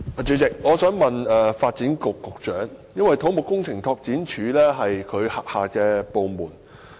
主席，我想向發展局局長提問，因為土木工程拓展署是其轄下部門。